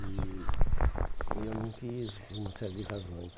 E eu não quis por uma série de razões.